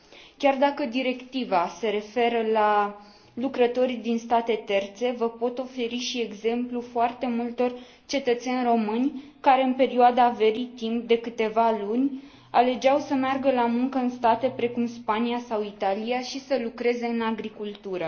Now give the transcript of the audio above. Chiar dacă directiva se referă la lucrătorii din state terțe, vă pot oferi și exemplul foarte multor cetățeni români care, în perioada verii, timp de câteva luni, alegeau să meargă la muncă în state precum Spania sau Italia și să lucreze în agricultură.